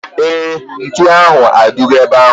Éè, ntụ ahu adigo ebe ahu